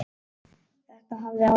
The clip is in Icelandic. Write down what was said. Þetta hafði áhrif.